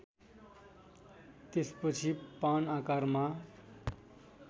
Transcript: त्यसपछि पान आकारमा